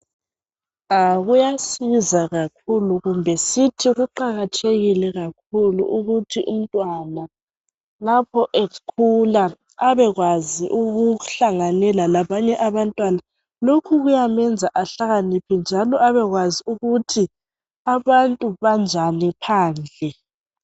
Kuyasiza kakhulu, kumbe sithi kuqakathekile kakhulu ukuthi umntwana lapho ekhula abekwazi ukuhlanganela labanye abantwana. Lokhu kuyamenza ahlakaniphe njalo abekwazi ukuthi abantu banjani phandle.